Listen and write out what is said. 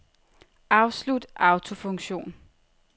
Afslut autofunktion.